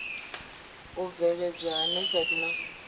u mveledzwa ha nepad na